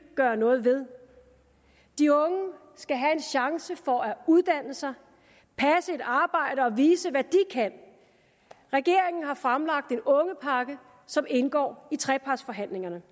gøre noget ved de unge skal have en chance for at uddanne sig passe et arbejde og vise hvad de kan regeringen har fremlagt en ungepakke som indgår i trepartsforhandlingerne